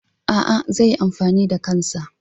A'a, zai yi amfani da kansa.